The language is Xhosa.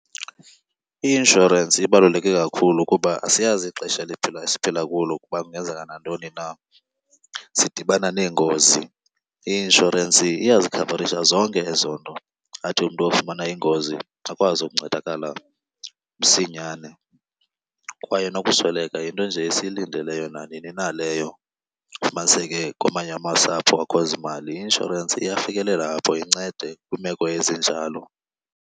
I-inshorensi ibaluleke kakhulu kuba siyazi ixesha esiphila kulo kuba kungenzeka nantoni na, sidibana neengozi. I-inshorensi iyazikhavarisha zonke ezo nto. Athi umntu ofumana ingozi akwazi ukuncedakala msinyane. Kwaye nokusweleka yinto nje esiyilindeleyo nanini na leyo, kufumaniseke kwamanye amasapho akho zimali. I-insurance iyafikelela apho incede kwiimeko ezinjalo.